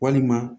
Walima